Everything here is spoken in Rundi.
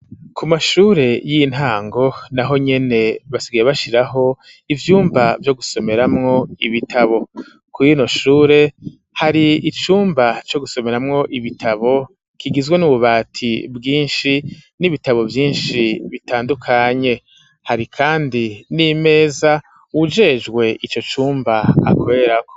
Ku mashure y'intango, naho nyene, basigiye bashiraho, ivyumba vyo gusomeramwo, ibitabo; kuri rino shure, hari icumba, co gusomeramwo ibitabo, kigizwe n'ububati bwinshi, n'ibitabo vyinshi, bitandukanye; hari kandi, n'imeza uwujejwe ico cumba, akorerako.